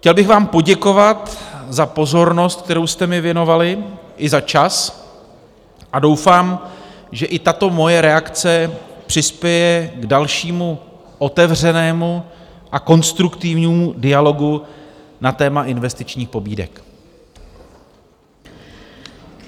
Chtěl bych vám poděkovat za pozornost, kterou jste mi věnovali, i za čas, a doufám, že i tato moje reakce přispěje k dalšímu, otevřenému a konstruktivnímu dialogu na téma investičních pobídek.